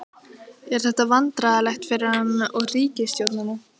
Er þetta vandræðalegt fyrir hann og ríkisstjórnina?